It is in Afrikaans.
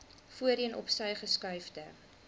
voorheen opsy geskuifde